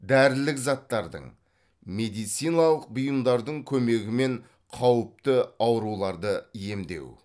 дәрілік заттардың медициналық бұйымдардың көмегімен қауіпті ауруларды емдеу